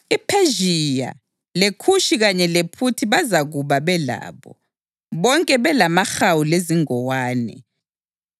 IPhezhiya, leKhushi kanye lePhuthi bazakuba belabo, bonke belamahawu lezingowane,